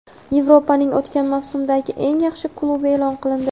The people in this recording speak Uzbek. Yevropaning o‘tgan mavsumdagi eng yaxshi klubi eʼlon qilindi.